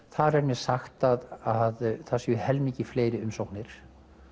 þar er mér sagt að séu helmingi fleiri umsóknir